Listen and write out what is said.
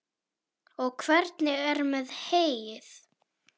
Og hvernig er með heyið?